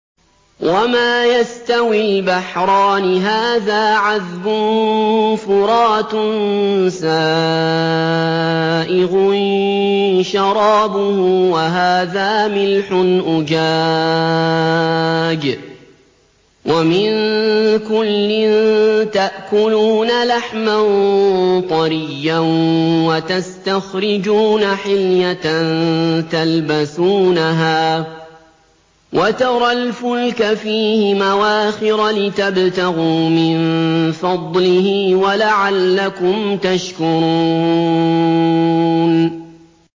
وَمَا يَسْتَوِي الْبَحْرَانِ هَٰذَا عَذْبٌ فُرَاتٌ سَائِغٌ شَرَابُهُ وَهَٰذَا مِلْحٌ أُجَاجٌ ۖ وَمِن كُلٍّ تَأْكُلُونَ لَحْمًا طَرِيًّا وَتَسْتَخْرِجُونَ حِلْيَةً تَلْبَسُونَهَا ۖ وَتَرَى الْفُلْكَ فِيهِ مَوَاخِرَ لِتَبْتَغُوا مِن فَضْلِهِ وَلَعَلَّكُمْ تَشْكُرُونَ